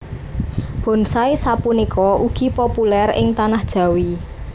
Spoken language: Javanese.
Bonsai sapunika ugi populèr ing Tanah Jawi